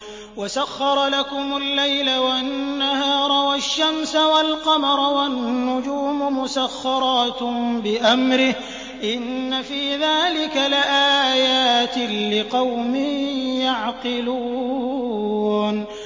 وَسَخَّرَ لَكُمُ اللَّيْلَ وَالنَّهَارَ وَالشَّمْسَ وَالْقَمَرَ ۖ وَالنُّجُومُ مُسَخَّرَاتٌ بِأَمْرِهِ ۗ إِنَّ فِي ذَٰلِكَ لَآيَاتٍ لِّقَوْمٍ يَعْقِلُونَ